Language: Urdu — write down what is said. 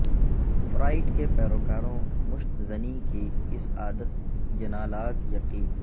فرایڈ کے پیروکاروں مشت زنی کی اس عادت ینالاگ یقین